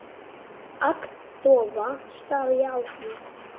Agndofa stari ég á hana.